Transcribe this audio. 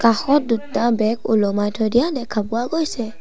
কাষত দুটা বেগ ওলোমাই থৈ দিয়া দেখা পোৱা গৈছে।